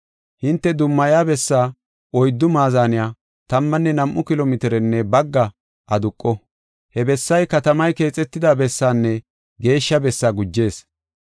Hinte dummaya bessaa oyddu maazaney tammanne nam7u kilo mitirenne bagga aduqo. He bessay katamay keexetida bessaanne geeshsha bessaa gujees.